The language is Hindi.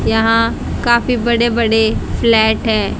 यहां काफी बड़े बड़े फ्लैट हैं।